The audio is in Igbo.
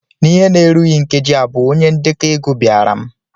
N'ihe na-erughị nkeji abụọ, onye ndekọ ego bịara m.